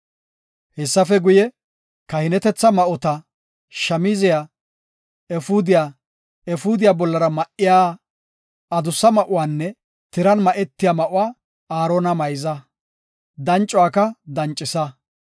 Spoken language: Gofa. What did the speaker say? Hessafe guye, kahinetetha ma7ota, shamziya, efuudiya, efuudiya bollara ma7iya adussa ma7uwanne tiran ma7etiya ma7uwa Aarona mayza; dancuwaka dancisa.